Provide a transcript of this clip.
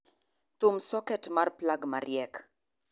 thum soket mar plag mariek